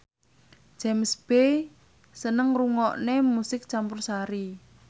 James Bay seneng ngrungokne musik campursari